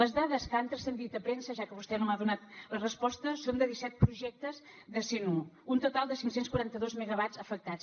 les dades que han transcendit a premsa ja que vostè no m’ha donat la resposta són de disset projectes de cent un un total de cinc cents i quaranta dos megawatts afectats